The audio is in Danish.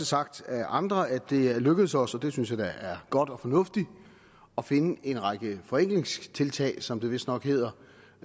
sagt af andre at det er lykkedes os og det synes jeg da er godt og fornuftigt at finde en række forenklingstiltag som det vistnok hedder